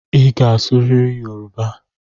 Ị ga-asụrịrị Yoruba!